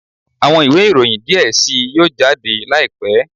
Awọn iwe iroyin diẹ sii yoo jade laipẹ